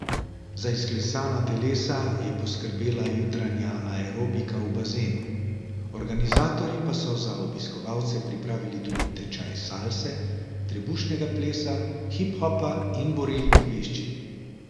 Za izklesana telesa je poskrbela jutranja aerobika v bazenu, organizatorji pa so za obiskovalce pripravili tudi tečaj salse, trebušnega plesa, hip hopa in borilnih veščin.